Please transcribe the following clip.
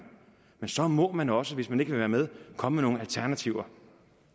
men så må man også hvis man ikke vil være med komme med nogle alternativer